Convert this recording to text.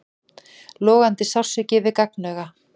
Logandi sársauki við gagnauga.